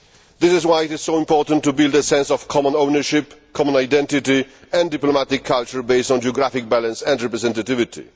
This is why it is so important to build a sense of common ownership, common identity and diplomatic culture based on geographic balance and representivity.